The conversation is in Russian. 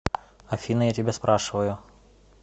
афина я тебя спрашиваю